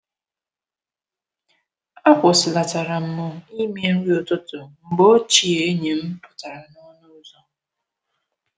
Akwụsị natara m ime nri ụtụtụ mgbe ochie enyi m pụtara n’ọnụ ụzọ.